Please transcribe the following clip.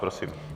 Prosím.